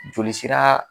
Joli sira